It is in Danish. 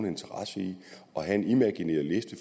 interesse i at have en imaginær liste